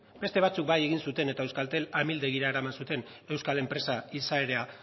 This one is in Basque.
beste batzuek bai egin zuten eta euskaltel amildegira eraman zuten euskal enpresa izaera